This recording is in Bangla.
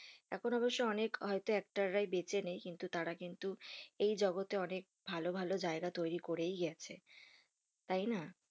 এখন অবশই অনেক হয়তো actor রাই বেঁচে নেই. কিন্তু তারা কিন্তু এই জগতে অনেক ভালো ভালো জায়গা তৈরী করেই গেছে তাই না?